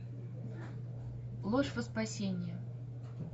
ложь во спасение